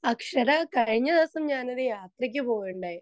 Speaker 2 Akshara കഴിഞ്ഞ ദിവസം ഞാൻ ഒരു യാത്രക്ക് പോവുകയുണ്ടായി.